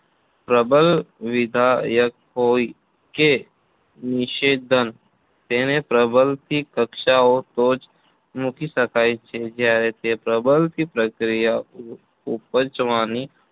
પ્રબલન વિધાયક હોય કે નિષેધન તેને પ્રબલથી કક્ષાએ તો જ મૂકી શકાય કે જ્યારે તે પ્રબલનથી પ્રતિક્રિયા ઉપજવાની